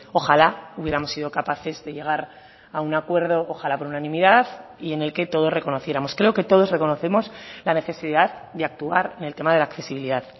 ojalá hubiéramos sido capaces de llegar a un acuerdo ojalá por unanimidad y en el que todos reconociéramos creo que todos reconocemos la necesidad de actuar en el tema de la accesibilidad